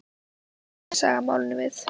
Hvað kemur þessi saga málinu við?